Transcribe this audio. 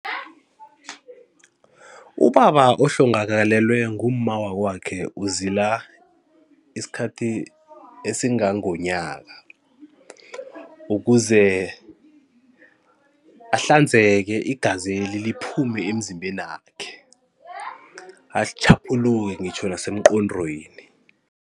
Ubaba ohlongakalelwe ngumma wakwakhe uzila isikhathi esingangomnyaka, ukuze ahlanzeke igazeli liphume emzimbenakhe atjhaphuluke ngitjho nasemnqondweni.